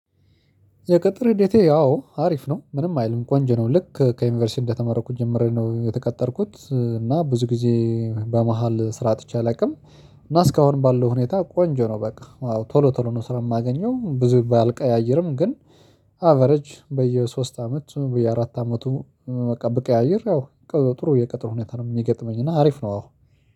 የቅጥር ሂደቴ ያው አሪፍ ነው ምንም አይልም ቆንጅ ነው ልክ ከዩኒቨርሲቲ እንደተመረኩት ጀምሮ ነው የተቀጠርኩት እና ብዙ ጊዜ በመሃል ስራ አጥቼ አላውቅም። እና እስካሁን ባለው ሁኔታ ቆንጆ ነው። በቃ ቶሎ ቶሎ ነው ስራ የማገኘው ብዙ ባልቀያይርም ግን በአቬረጅ በየሶስት አመቱ በየአራት አመቱ በቃ ብቀያይር ያው ጥሩ የቅጥር ሁኔታ ነው የሚገጥመኝ። እና አሪፍ ነው። አዎ